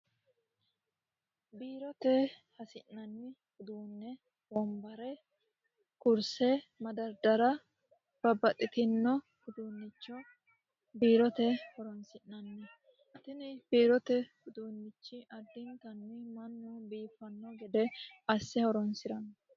biirote hasi'nanni uduunne woombare kurse madardara babbaxxitino uduunnicho biirote horonsi'nanni tini biirote uduunnichi addiintanni mannu biiffanno gede asse horonsi'ranno.